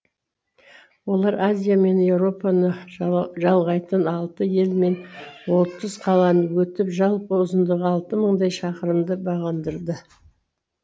олар азия мен еуропаны жалғайтын алты ел мен отыз қаланы өтіп жалпы ұзындығы алты мыңдай шақырымды бағындырды